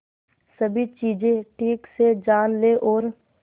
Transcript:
सभी चीजें ठीक से जान ले और